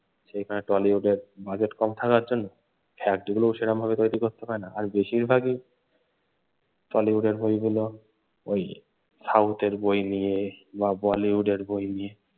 সেখানে টলিউড বাজেট কম থাকার জন্য fact গুলোও সেরকমভাবে তৈরি করতে পারে না। আর বেশিরভাগই টালিউডের বইগুলো ওই সাউথ এর বই নিয়ে বা বলিউডের বই নিয়ে।